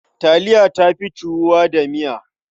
Taliya ta fi ciwuwa da miya.